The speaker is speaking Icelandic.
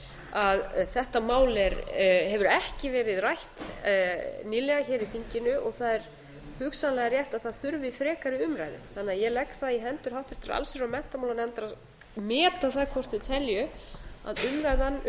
að þetta mál hefur ekki verið rætt nýlega hér í þinginu og það er hugsanlega rétt að það þurfi fleiri umræðu ég legg það því í hendur háttvirtrar allsherjar og menntamálanefndar að meta það hvort þau telji að umræðan um